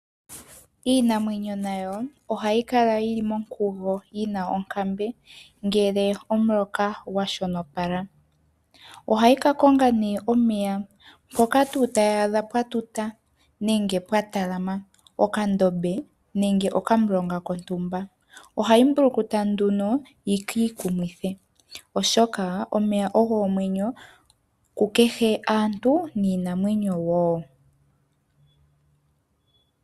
Iinamwenyo nayo ohayi kala yili monkugo yina onkambe, ngele omuloka gwashonopala. Ohayi kakonga omeya mpoka tuu tayi adha pwatuta nenge pwatalama okandombe nenge okamulonga kondumba . Ohayi mbulukuta nduno yiikiikumwithe , oshoka omeya ogo omwenyo kukehe aantu niinamwenyo woo.